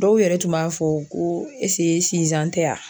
Dɔw yɛrɛ tun b'a fɔ ko tɛ yan